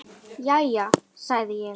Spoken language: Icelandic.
Jæja, sagði ég.